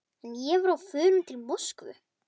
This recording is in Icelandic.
En ég var á förum til Moskvu.